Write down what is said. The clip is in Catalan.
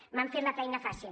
m’han fet la feina fàcil